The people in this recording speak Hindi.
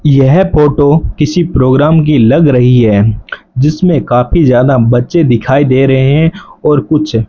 यह फोटो किसी प्रोग्राम की लग रही है जिसमें काफी ज्यादा बच्चे दिखाई दे रहे है और कुछ --